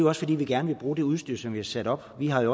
også fordi vi gerne vil bruge det udstyr som vi har sat op vi har i